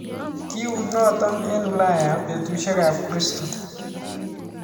Kiut notok eng ulaya petusiek ap kiristo